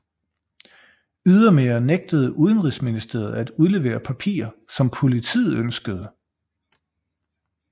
Ydermere nægtede Udenrigsministeriet at udlevere papirer som politiet ønskede